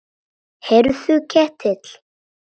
Heyrðu Ketill.